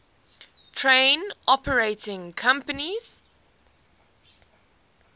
train operating companies